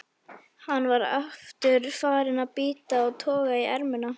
Hann var aftur farinn að bíta og toga í ermina.